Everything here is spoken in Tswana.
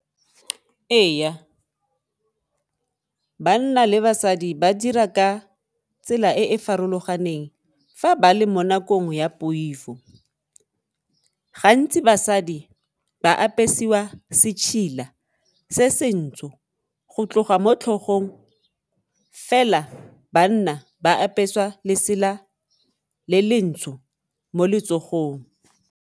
Ee, banna le basadi ba dira ka tsela e e farologaneng fa ba le mo nakong ya poifo, gantsi basadi ba apesiwa se ntsho go tloga mo tlhogong, fela banna ba apeswa lesela le le ntsho mo letsogong.